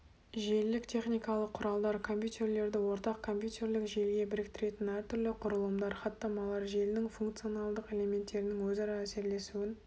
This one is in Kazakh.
желілік техникалық құралдар компьютерлерді ортақ компьютерлік желіге біріктіретін әртүрлі құрылымдар хаттамалар желінің функционалдық элементтерінің өзара әсерлесуін